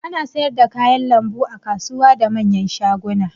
Ana sayar da kayan lambu a kasuwa da manyan shaguna.